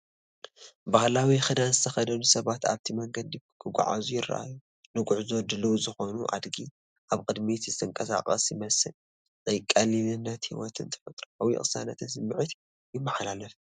ባህላዊ ክዳን ዝተኸድኑ ሰባት ኣብቲ መንገዲ ክጓዓዙ ይረኣዩ። ንጉዕዞ ድሉው ዝኾነ ኣድጊ ኣብ ቅድሚት ዝንቀሳቐስ ይመስል፤ ናይ ቀሊልነት ህይወትን ተፈጥሮኣዊ ቅሳነትን ስምዒት ይመሓላለፍ።